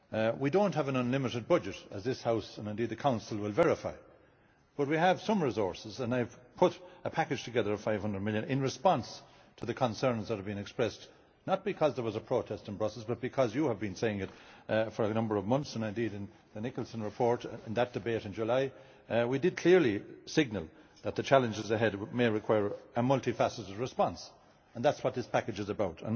We do not have an unlimited budget as this House, and indeed the Council will verify, but we have some resources and I have put a package together of EUR 500 million in response to the concerns that have been expressed, not because there was a protest in Brussels but because you have been saying it for a number of months, and indeed in the Nicholson report in that debate in July we clearly signalled that the challenges ahead may require a multi faceted response, and that is what this package is about.